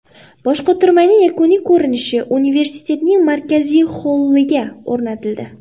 Boshqotirmaning yakuniy ko‘rinishi universitetning markaziy holliga o‘rnatildi.